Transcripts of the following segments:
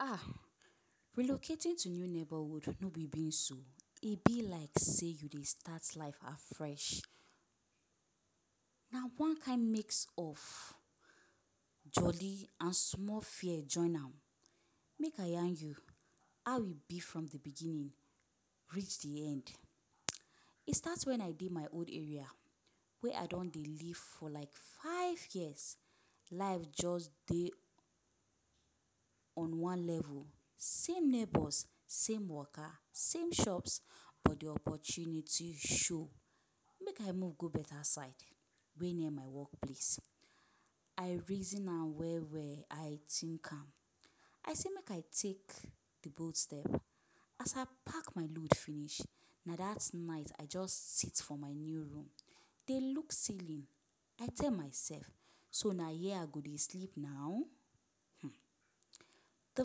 Um Relocating to new neighbourhood no be beans o! E be like sey you dey start life afresh. Na one kind mix of jolly and small fear join am. Make I yarn you how e be from de beginning reach de end. E start when I dey my old are wey I don dey live for like five years. Life just dey on one level. Same neighbours, same waka, same shops but de opportunity show. Make I move go better side wey near my workplace. I reason am well-well; I think am. I say make I take the bold step. As I pack my load finish, na dat night I just sit for my new room dey look ceiling. I tell myself ‘so na here I go dey sleep now?’ um De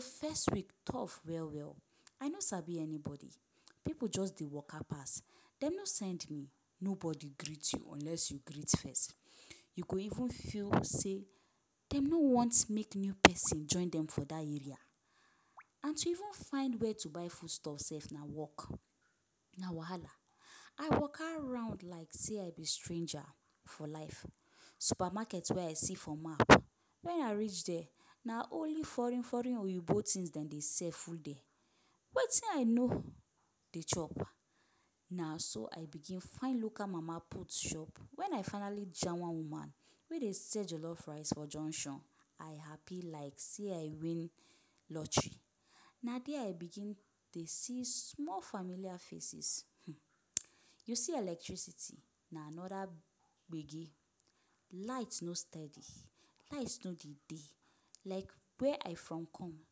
first week tough well-well. I no sabi anybody. Pipu just dey waka pass. Dem no send me. Nobody greet you unless you greet first. You go even feel sey dem no want make new pesin join dem for dat area. And to even find where to buy foodstuff sef na work - na wahala. I waka round like sey I be stranger for life. Supermarket wey I see for map, when I reach there, na only foreign-foreign oyibo things de dey sell full there - wetin I no dey chop. Na so I begin find local mama-put shop. When I finally jam one woman wey dey sell jollof rice for junction, I happy like sey I win lottery. Na there I begin dey see small familiar faces, um You see electricity, na another gbege! Light no steady, light no dey dey. Like where I from come,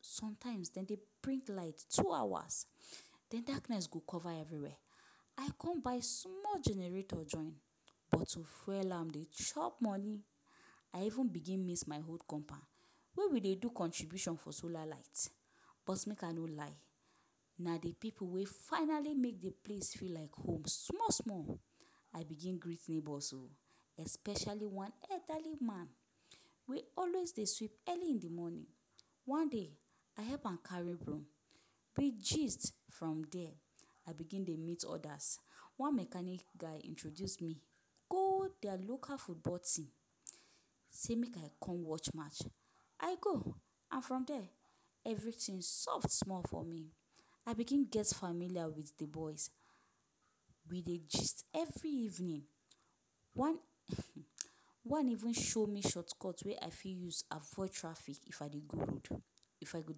sometimes dem dey bring light two hours, then darkness go cover everywhere. I come buy small generator join, but to fuel am dey chop money. I even begin miss my old compound. When we dey do contribution for solar light, bros make I no lie, na de pipu wey finally make de place feel like home small-small. I begin greet neighbours o, especially one elderly man wey always dey sweep early in de morning. One day, I help am carry broom, we gist from there. I begin dey meet others. One mechanic guy introduce me go dia local football team sey make I come watch match. I go! And from there, everything soft small for me. I begin get familiar with the boys. We dey gist every evening. One um one even show me shortcut wey I fit use avoid traffic if I dey go road if I go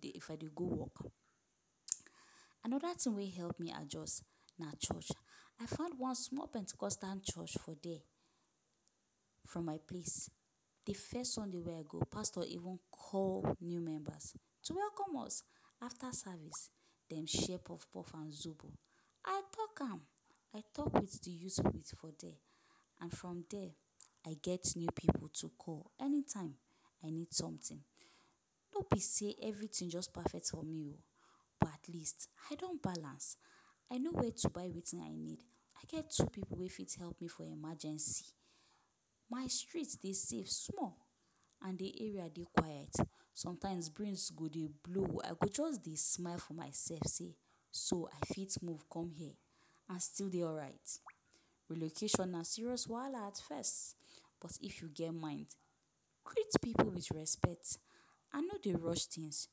dey if I dey go work. um Another thing wey help me adjust na church. I find one small pentecostan church for there. From my place, the first Sunday wey I go, Pastor even call new members to welcome us. After service, dem share puff-puff and zobo. I talk am! I talk with de youth for there. And from there, I get new pipu to call anytime I need something. No be sey everything just perfect for me o! But at least, I don balance. I know where to buy wetin I need. I get two pipu wey fit help me for emergency. My street dey safe small and de area dey quiet. Sometimes, breeze go dey blow, I go just dey smile for myself say ‘so I fit move come here and still dey alright?’ Relocation na serious wahala at first, but if you get mind. Greet pipu with respect and no dey rush things,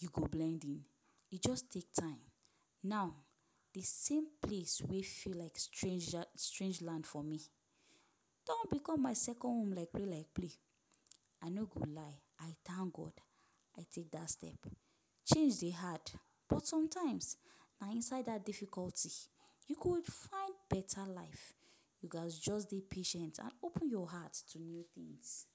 you go blend in. E just take time. Now, de same place wey feel like strange land for me, don become my second home like play-like play. I no go lie, I thank God I take that step. Change dey hard, but sometimes, na inside that difficulty you go find better life. You gats just dey patient and open your heart to new things.